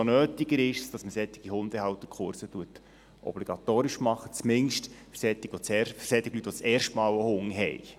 Umso nötiger ist es, dass man solche Hundehalterkurse obligatorisch macht – zumindest für solche Leute, die das erste Mal einen Hund haben.